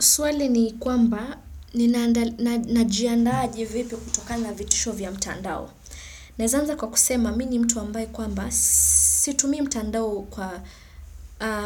Swali ni kwamba ninajiandaaje vipi kutokana na vitisho vya mtandao. Naeza anza kwa kusema mimi ni mtu ambaye kwamba situmii mtandao kwa